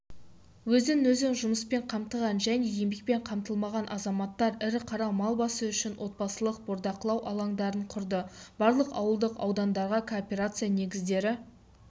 өзін-өзі жұмыспен қамтыған және еңбекпен қамтылмаған азаматтар ірі қара мал басы үшін отбасылық бордақылау алаңдарын құрды барлық ауылдық аудандарда кооперация негіздері